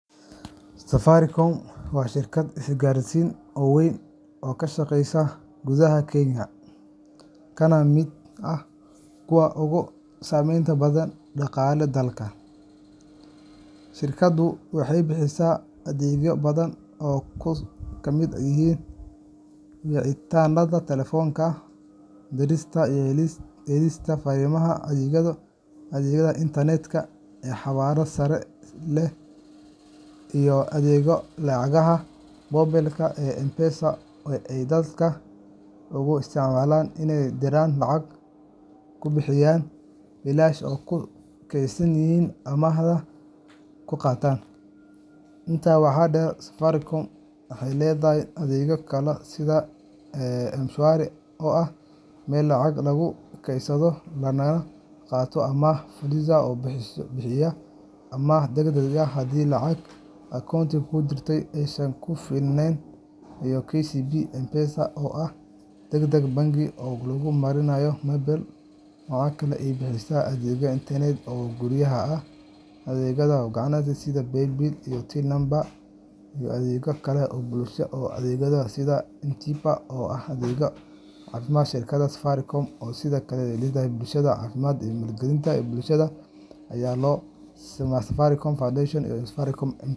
Safaricom waa shirkad isgaarsiineed oo weyn oo ka shaqeysa gudaha Kenya, kana mid ah kuwa ugu saamaynta badan dhaqaalaha dalka. Shirkaddu waxay bixisaa adeegyo badan oo ay ka mid yihiin wicitaannada telefoonka, dirista iyo helista fariimaha, adeegga internet-ka ee xawaare sare leh , iyo adeegga lacagaha moobilka ee M-PESA oo ay dadka ugu isticmaalaan inay ku diraan lacag, ku bixiyaan biilasha, ku kaydsadaan amaahna ku qaataan. Intaa waxaa dheer, Safaricom waxay leedahay adeegyo kale sida M-Shwari oo ah meel lacag lagu kaydsado lagana qaato amaah, Fuliza oo bixiya amaah degdeg ah haddii lacagta akoonka ku jirta aysan ku filnayn, iyo KCB M-PESA oo ah adeeg bangiyeed oo lagu maareeyo moobilka. Waxa kale oo ay bixisaa adeegyo internet oo guryaha ah, adeegyo ganacsi sida Pay Bill iyo Till Number, iyo adeegyo kale oo bulshada u adeega sida M-TIBA oo ah adeeg caafimaad. Shirkadda Safaricom sidoo kale waxay ku lug leedahay horumarinta bulshada iyadoo maalgelisa waxbarashada, caafimaadka, iyo arrimaha bulshada iyada oo loo marayo Safaricom Foundation iyo safaricom M-PESA .